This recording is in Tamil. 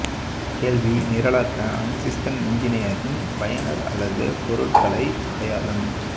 கேள்வி நிரலாக்க அண்ட் சிஸ்டம்ஸ் இன்ஜினியரிங் பயனர் அல்லது பொருட்களை அடையாளம்